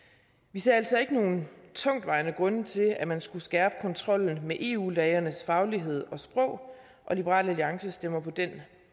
vi ser altså ikke nogen tungtvejende grunde til at man skulle skærpe kontrollen med eu lægernes faglighed og sprog og liberal alliance stemmer på den